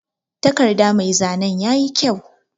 Takarɗa mai zanen yaƴi kƴau.